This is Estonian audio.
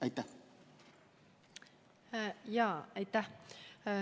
Aitäh!